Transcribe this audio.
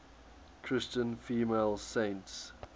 christian female saints